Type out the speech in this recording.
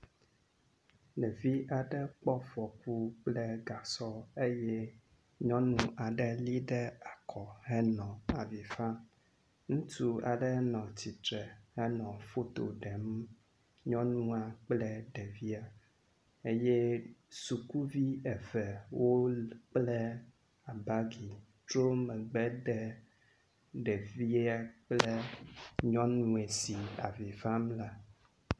Ɖevi aɖe kpɔ fɔku kple gasɔ eye nyɔnu aɖe lée ɖe akɔ henɔ avi fam. Ŋutsu aɖe nɔ tsitre henɔ foto ɖem nyɔnua kple ɖevia eye sukuvi eve wokpla abagi, trɔ megbe de ɖevie kple nyɔnu si nɔ avi fam la.